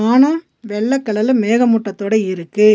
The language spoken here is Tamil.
ஆனா வெள்ள கலர்ல மேக மூட்டத்தோட இருக்கு.